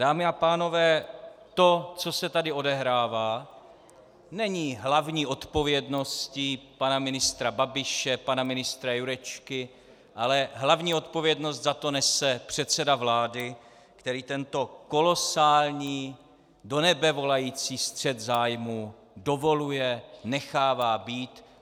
Dámy a pánové, to, co se tady odehrává, není hlavní odpovědností pana ministra Babiše, pana ministra Jurečky, ale hlavní odpovědnost za to nese předseda vlády, který tento kolosální, do nebe volající střet zájmů dovoluje, nechává být.